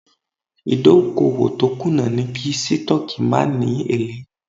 Ìdókòwò tó kùnà ni kí Sítọ́ọ́kì má ni èlé.